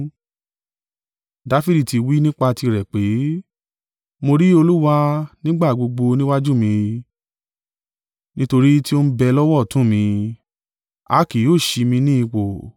Dafidi tí wí nípa tirẹ̀ pé: “ ‘Mo rí Olúwa nígbà gbogbo níwájú mí, nítorí tí ó ń bẹ lọ́wọ́ ọ̀tún mi, a kì ó ṣí mi ní ipò.